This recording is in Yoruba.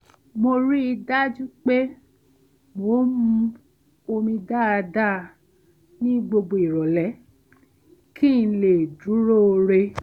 mo rí i dájú pé mo ń mu omi dáadáa ní gbogbo ìrọ̀lẹ́ kí n lè dúróo re